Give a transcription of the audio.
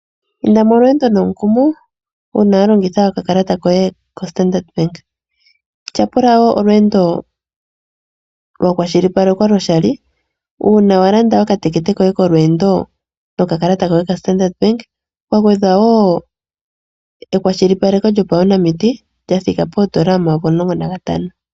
Inda molweendo nomukumo, uuna wa longitha okakalata koye koStandard Bank. Tyapula wo olweendo lwa kwashilipalekwa lyoshali. Uuna wa landa okatekete koye kolweendo nokakalata koye koStandard Bank, ka gwedhwa wo ekwashilipaleko lyopaunamiti, lyathika poondola omayovi omulongo nantano.